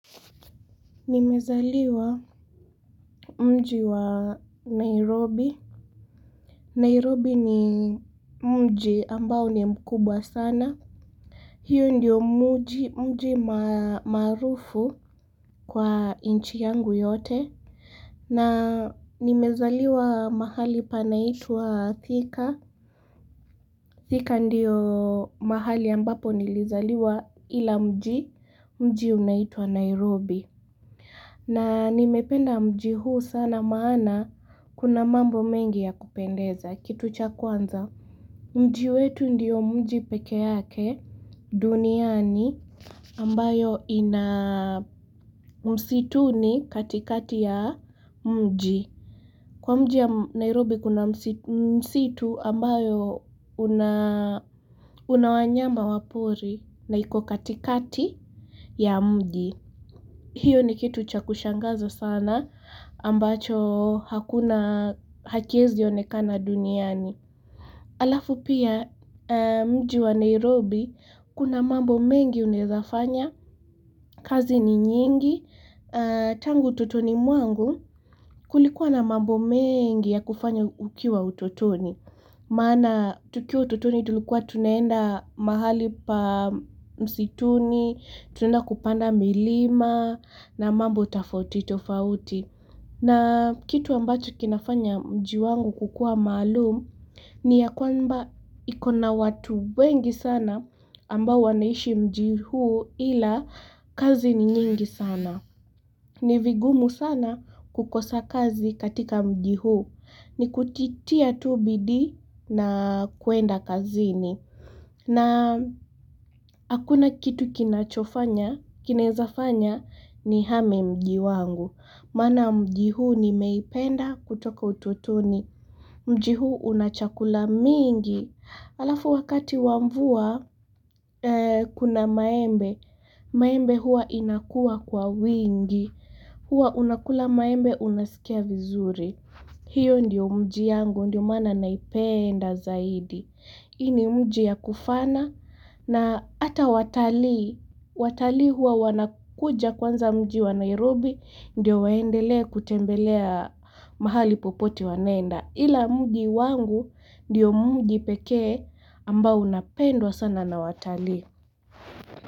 Nimezaliwa mji wa Nairobi, Nairobi ni mji ambao ni mkubwa sana. Hiyo ndiyo mji maarufu kwa nchi yangu yote, na nimezaliwa mahali panaitwa Thika, Thika ndiyo mahali ambapo nilizaliwa ila mji unaitwa Nairobi. Na nimependa mji huu sana maana kuna mambo mengi ya kupendeza, kitu cha kwanza. Mji wetu ndiyo mji peke yake duniani ambayo ina msituni katikati ya mji. Kwa mji ya Nairobi kuna msitu ambayo una wanyama wa pori na iko katikati ya mji. Hiyo ni kitu cha kushangaza sana ambacho hakuna, hakiwezi onekana duniani. Alafu pia mji wa Nairobi kuna mambo mengi unaweza fanya. Kazi ni nyingi. Tangu utotoni mwangu kulikuwa na mambo mengi ya kufanya ukiwa utotoni. Maana tukiwa utotoni tulikuwa tunaenda mahali pa msituni, tunaenda kupanda milima na mambo tofauti tofauti. Na kitu ambacho kinafanya mji wangu kukuwa maalum, ni ya kwamba ikona watu wengi sana ambao wanaishi mji huu ila kazi ni nyingi sana. Ni vigumu sana kukosa kazi katika mji huu. Ni kujitia tu bidii na kuenda kazini. Na hakuna kitu kinachofanya, kinaweza fanya nihame mji wangu. Maana mji huu nimeipenda kutoka utotoni. Mji huu una chakula mingi, alafu wakati wa mvua kuna maembe, maembe huwa inakuwa kwa wingi, huwa unakula maembe unasikia vizuri, hiyo ndio mji yangu, ndio maana naipenda zaidi. Hii ni mji ya kufana na hata watalii, watalii huwa wanakuja kwanza mji wa Nairobi ndio waendelee kutembelea mahali popote wanaenda. Ila mji wangu ndio mji pekee ambao unapendwa sana na watalii.